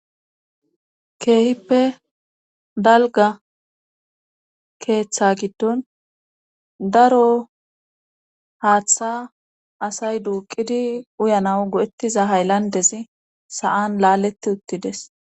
keehippe dalga keeththa giddon daro haaththa asay duuqidi uyanaw go7ettiza hayllandezi sa7an laaleti uttides